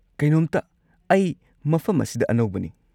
ꯀꯩꯅꯣꯝꯇ, ꯑꯩ ꯃꯐꯝ ꯑꯁꯤꯗ ꯑꯅꯧꯕꯅꯤ꯫